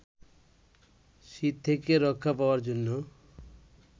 শীত থেকে রক্ষা পাওয়ার জন্য